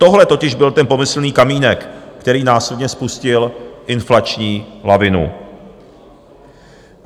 Tohle totiž byl ten pomyslný kamínek, který následně spustil inflační lavinu.